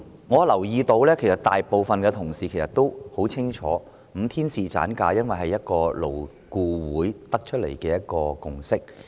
我留意到大部分同事也很清楚5天侍產假的安排，因為這是勞工顧問委員會得出的共識。